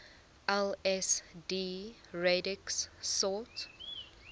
lsd radix sort